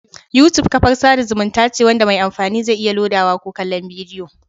YouTube kafar sada zumunta ce wanda mai amfani zai iya lodawa ko kallon bidiyo